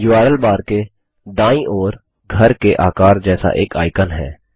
URL bar के दायीं ओर घर के आकार जैसा एक आइकन है